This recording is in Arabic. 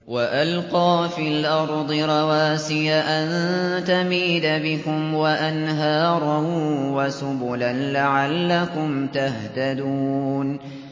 وَأَلْقَىٰ فِي الْأَرْضِ رَوَاسِيَ أَن تَمِيدَ بِكُمْ وَأَنْهَارًا وَسُبُلًا لَّعَلَّكُمْ تَهْتَدُونَ